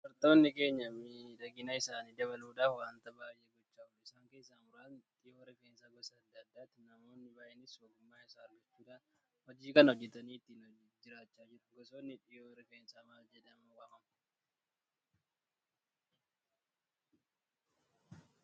Dubartoonni keenya miidhagina isaanii dabaluudhaaf waanta baay'ee gochaa oolu. Isaan keessaa muraasni dhayinoo Rifeensaa gosa adda addaati. Namoonni baay'eenis ogummaa isaa argachuudhaan hojii kana hojjetanii ittiin jiraachaa jiru. Gosoonni dhayinoo Rifeensaa maal-jedhamanii waamamu?